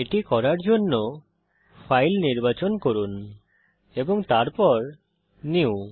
এটি করার জন্যে ফাইল নির্বাচন করুন এবং তারপর নিউ